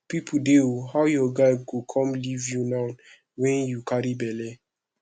people dey ooo how your guy go come leave you now wey you carry bele